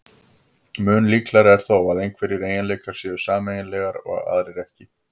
Mun líklegra er þó að einhverjir eiginleikar séu sameiginlegir og aðrir ekki.